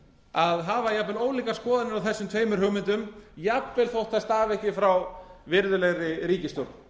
að hafa jafnvel ólíkar skoðanir á þessum tveimur hugmyndum jafnvel þótt þær séu frá virðulegri ríkisstjórn